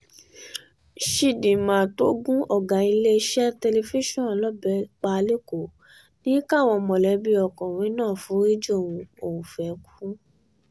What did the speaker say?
chidinma tó gun ọ̀gá iléeṣẹ́ tẹlifíṣàn lọ́bẹ̀ pa ĺeéòó ní káwọn mọ̀lẹ́bí ọkùnrin náà foríjì òun òun fẹ́ẹ́ kú